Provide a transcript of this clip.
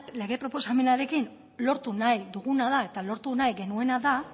lege proposamenarekin lortu nahi duguna da eta lortu nahi genuena da